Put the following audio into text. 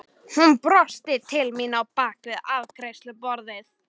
Hún brosti til mín á bak við afgreiðsluborðið.